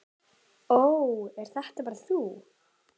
Ó, ert þetta bara þú?